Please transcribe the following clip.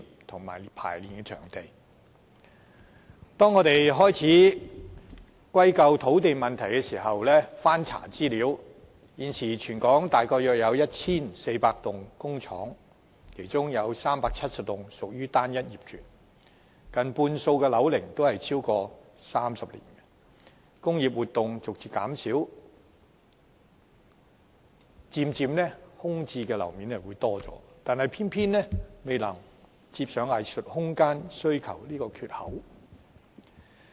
我們難免會把問題歸咎於土地不足，但經翻查資料後，卻發現全港現時約有 1,400 幢工廈，其中370多幢屬單一業權，近半數工廈的樓齡超過30年，工業活動逐漸減少，空置樓面漸漸增加，但仍不足以填補藝術空間需求這個缺口。